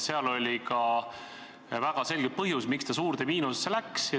Sel oli ka väga selge põhjus, miks ta suurde miinusesse läks.